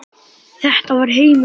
Þetta var heimur óttans.